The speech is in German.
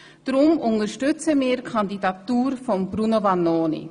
Deshalb unterstützen wir die Kandidatur von Bruno Vanoni.